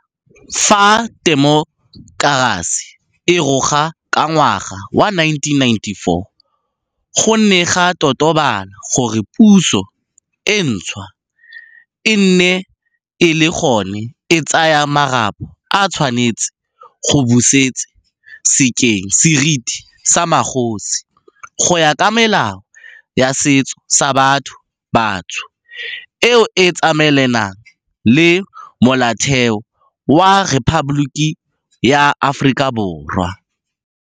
Fa temokerasi e roga ka ngwaga wa 1994, go ne ga totobala gore puso e ntšhwa e e neng e le gona e tsaya marapo e tshwanetse go busetse sekeng seriti sa magosi go ya ka melao ya setso sa batho batsho eo e tsamaelanang le Molaotheo wa Rephaboliki ya Aforika Borwa.